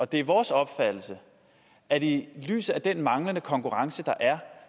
det er vores opfattelse at vi i lyset af den manglende konkurrence der er